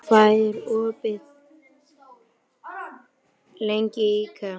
Þeódóra, hvað er opið lengi í IKEA?